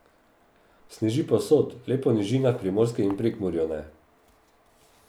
Sneži povsod, le po nižinah Primorske in v Prekmurju ne.